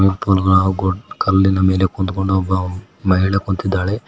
ಕಲ್ಲಿನ ಮೇಲೆ ಕುಂತ್ಕೊಂಡು ಒಬ್ಬ ಮಹಿಳೆ ಕುಂತಿದ್ದಾಳೆ.